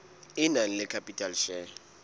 e nang le share capital